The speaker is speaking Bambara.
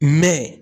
Mɛ